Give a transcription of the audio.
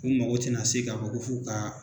U mago tɛna se ka fɔ ko f'u ka